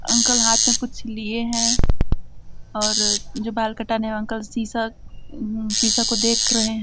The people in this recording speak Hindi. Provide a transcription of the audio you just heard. अंकल हाथ में कुछ लिए हैं और जो बाल कटाने अंकल शीशा शीशा को देख रहे हैं।